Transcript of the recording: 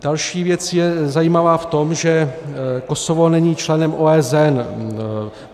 Další věc je zajímavá v tom, že Kosovo není členem OSN.